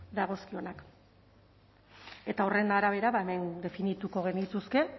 dagozkionak eta horren arabera definituko genituzke